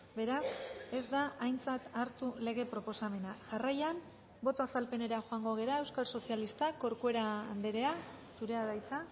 beraz ez da aintzat hartu lege proposamena jarraian boto azalpenera joango gara euskal sozialistak corcuera andrea zurea da hitza